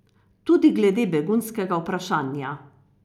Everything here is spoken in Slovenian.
Tudi glede begunskega vprašanja.